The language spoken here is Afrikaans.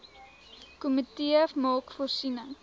komitee maak voorsiening